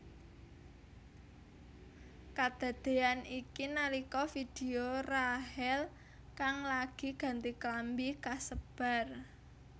Kadadéyan iki nalika vidéo Rachel kang lagi ganti klambi kasebar